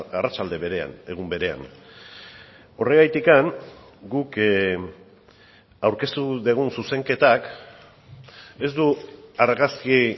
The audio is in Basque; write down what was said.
arratsalde berean egun berean horregatik guk aurkeztu dugun zuzenketak ez du argazki